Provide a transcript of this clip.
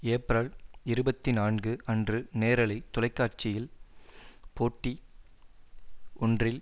April இருபத்தி நான்கு அன்று நேரலை தொலைக்காட்சியில் போட்டி ஒன்றில்